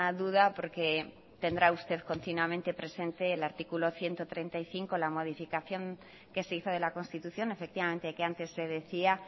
duda porque tendrá usted continuamente presente el artículo ciento treinta y cinco la modificación que se hizo de la constitución efectivamente que antes se decía